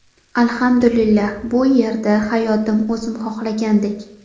Alhamdulillah, bu yerda hayotim o‘zim xohlagandek.